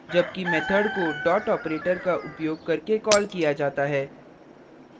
जबकि method को dot operator का उपयोग करके कॉल किया जाता है